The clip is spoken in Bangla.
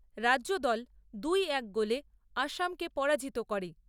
রাজ্যদল দুই এক গোলে অসমকে পরাজিত করে।